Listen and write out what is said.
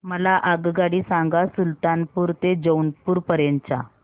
मला आगगाडी सांगा सुलतानपूर ते जौनपुर पर्यंत च्या